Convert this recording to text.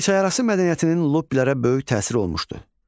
İki çay arası mədəniyyətinin luppilərə böyük təsiri olmuşdu.